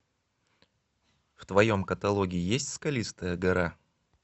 в твоем каталоге есть скалистая гора